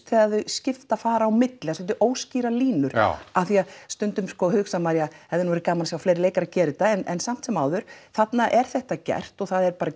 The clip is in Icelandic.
þegar þau skipta eða fara á milli svolítið óskýrar línur já af því stundum sko hugsar maður það hefði nú verið gamana að sjá fleiri leikara gera þetta en samt sem áður þarna er þetta gert og það er bara